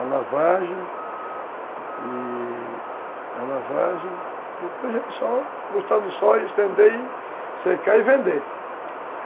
a lavagem, e a lavagem, depois é só botar no sol, estender, secar e vender.